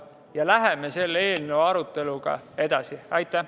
Ja läheme selle eelnõu aruteluga edasi.